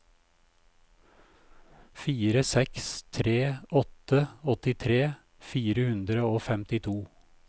fire seks tre åtte åttitre fire hundre og femtito